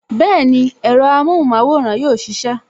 Bẹẹni, ẹ̀rọ amohun maworan yóò sisẹ